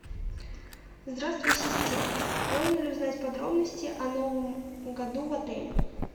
здравствуй ассистент можно ли узнать подробности о новом году в отеле